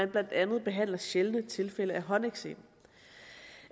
blandt andet behandler sjældne tilfælde af håndeksem